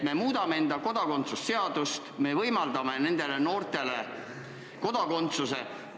Me muudame oma kodakondsuse seadust, me võimaldame nendele noortele kodakondsuse.